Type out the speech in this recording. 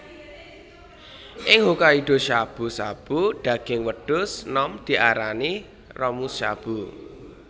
Ing Hokkaido shabu shabu daging wedhus nom diarani Ramushabu